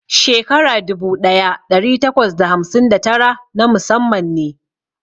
Shekara dubu ɗaya ɗari takwas da hamsin da tara na musamman ne.